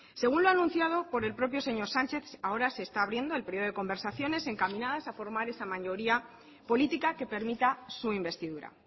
según lo anunciado por el propio señor sánchez ahora se está abriendo el periodo de conversaciones encaminadas a formar esa mayoría política que permita su investidura